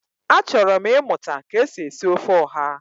Achọrọ m ịmụta ka e si esi ofe ọha